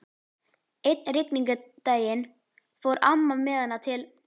Einn rigningardaginn fór amma með hana til